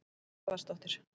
Anna Garðarsdóttir